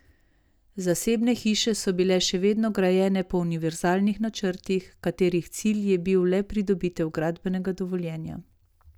Zasebne hiše so bile še vedno grajene po univerzalnih načrtih, katerih cilj je bilo le pridobitev gradbenega dovoljenja.